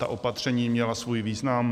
Ta opatření měla svůj význam.